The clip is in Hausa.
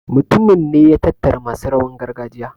mutumin ne ya tattara masu rawan gargajiya